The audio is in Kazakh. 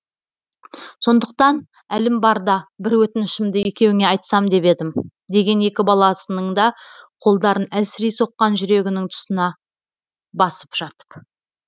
сондықтан әлім барда бір өтінішімді екеуіңе айтсам деп едім деген екі баласының да қолдарын әлсірей соққан жүрегінің тұсына басып жатып